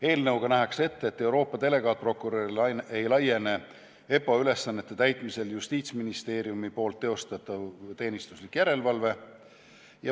Eelnõuga nähakse ette, et Euroopa delegaatprokurörile ei laiene EPPO ülesannete täitmisel Justiitsministeeriumi teostatav teenistuslik järelevalve.